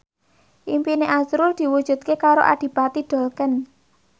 impine azrul diwujudke karo Adipati Dolken